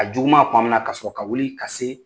A juguma kuma min na ka sɔrɔ ka wuli ka se